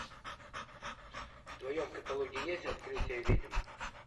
в твоем каталоге есть открытие ведьм